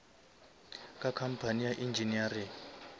ka company ya engineering